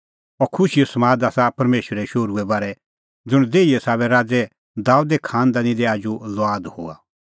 अह खुशीओ समाद आसा परमेशरे शोहरुए बारै ज़ुंण देहीए साबै राज़ै दाबेदे खांनदानी दी आजू लुआद हुअ